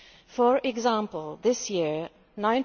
For example, this year EUR